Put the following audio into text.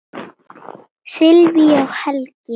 Sylvía og Helgi.